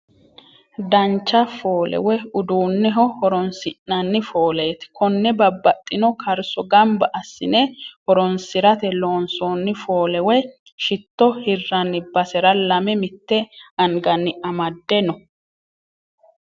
Dancha foole woy uduunneho horoonsi'nanni fooleeti. Konne babbaxino karso gamba assine horoonsirate loonsoonni foole woy shitto hiraanni basera lame mitte anganni amade no.